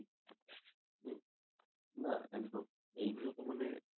না একদম এগুলো তো মানে